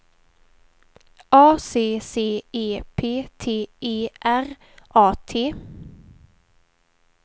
A C C E P T E R A T